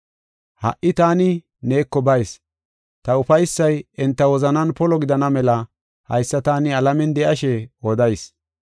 “Ha77i taani neeko bayis. Ta ufaysay enta wozanan polo gidana mela haysa taani alamen de7ashe odayis.